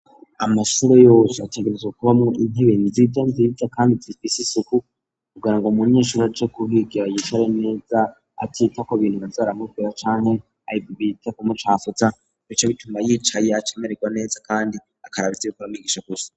Amashure yose ategerezwa kubamwo intebe nziza nziza kandi zifise isuku kugira ngo umunyeshuri aje kuhigira yicare neza akitaho ibintu baza baramubwira canke atitaye kubimucafuza bice bituma yicaye acamererwa neza kandi akaraba ivyo umwigisha gusa.